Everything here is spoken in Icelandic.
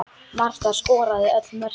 Marta skoraði öll mörkin.